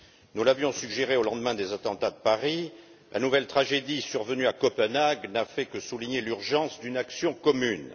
Nous l'avions suggéré au lendemain des attentats de Paris et la nouvelle tragédie survenue à Copenhague n'a fait que souligner l'urgence d'une action commune.